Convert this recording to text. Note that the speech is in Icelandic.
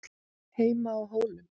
HEIMA Á HÓLUM